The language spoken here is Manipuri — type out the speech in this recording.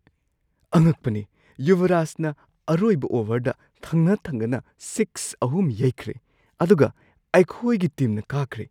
ꯑꯉꯛꯄꯅꯤ! ꯌꯨꯕꯔꯥꯖꯅ ꯑꯔꯣꯏꯕ ꯑꯣꯚꯔꯗ ꯊꯪꯅ ꯊꯪꯅꯅ ꯁꯤꯛꯁ ꯑꯍꯨꯝ ꯌꯩꯈ꯭ꯔꯦ ꯑꯗꯨꯒ ꯑꯩꯈꯣꯏꯒꯤ ꯇꯤꯝꯅ ꯀꯥꯈ꯭ꯔꯦ꯫